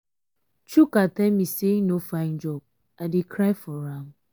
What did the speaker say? chuka tell me say he no find job i dey cry for am.